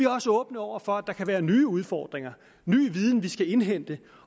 også åbne over for at der kan være nye udfordringer ny viden vi skal indhente